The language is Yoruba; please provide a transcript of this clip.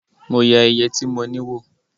Mo yẹ iye tí mo ní wò